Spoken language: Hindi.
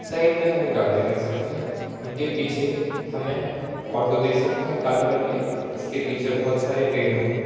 साइड में हमें गाड़ियां लिख सकती हैं उनके पीछे हमें ऑटो दिख सकते हैं काले रंग के इसके पीछे बहुत सारे पेड़ हैं।